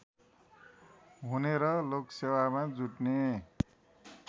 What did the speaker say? हुने र लोकसेवामा जुट्ने